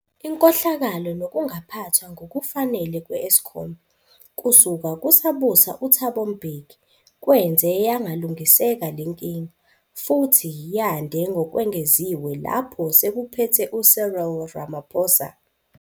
Inkohlakalo nokungaphathwa ngokufanele kwe-Eskom, kusuka kusabusa uThabo Mbeki, kwenze yangalungiseka lenkinga, futhi yande ngokwengeziwe lapho sekuphethe uCyril Ramaphosa.